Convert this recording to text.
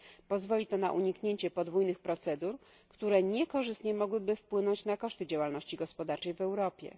Pozwoli to na uniknięcie podwójnych procedur, które mogłyby niekorzystnie wpłynąć na koszty działalności gospodarczej w Europie.